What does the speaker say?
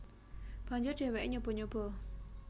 Banjur dheweke nyoba nyoba